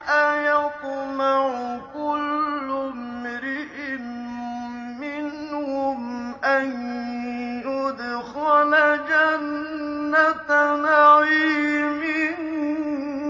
أَيَطْمَعُ كُلُّ امْرِئٍ مِّنْهُمْ أَن يُدْخَلَ جَنَّةَ نَعِيمٍ